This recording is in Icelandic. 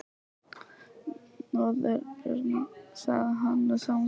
Nöðrurnar, sagði hann við sjálfan sig.